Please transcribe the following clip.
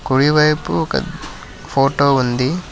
కుడి వైపు ఒక ఫోటో ఉంది.